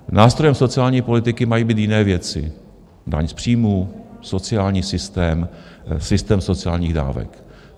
Nástrojem sociální politiky mají být jiné věci - daň z příjmu, sociální systém, systém sociálních dávek.